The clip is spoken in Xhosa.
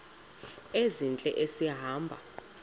ezintle esi hamba